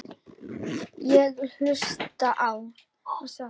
Ég hlusta á: nánast allt